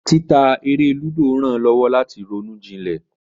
Títa eré lúdò rán lowo lati roún jilè.